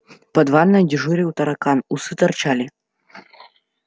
под ванной дежурил таракан усы торчали